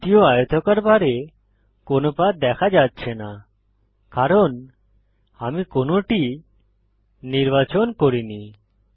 দ্বিতীয় আয়তকার বারে কোনো পাথ দেখা যাচ্ছে না কারণ আমি কোনোটি নির্বাচন করিনি